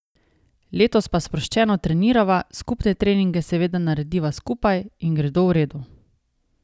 Letos pa sproščeno trenirava, skupne treninge seveda narediva skupaj in gredo v redu.